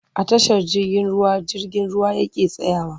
A tashar jirgin ruwa jirgin ruwa yake tsayawa.